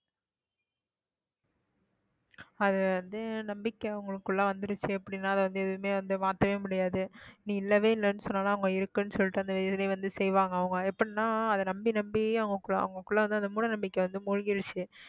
அது வந்து நம்பிக்கை உங்களுக்குள்ள வந்துருச்சு அப்படின்னா அது வந்து எதுவுமே வந்து மாத்தவே முடியாது நீ இல்லவே இல்லைன்னு சொன்னாலும் அவங்க இருக்குன்னு சொல்லிட்டு அந்த இதுலயே வந்து செய்வாங்க அவங்க எப்படின்னா அதை நம்பி நம்பி அவங்களுக்குள்ள வந்து அந்த மூட நம்பிக்கை வந்து மூழ்கிருச்சு